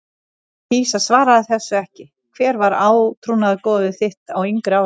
kýs að svara þessu ekki Hver var átrúnaðargoð þitt á yngri árum?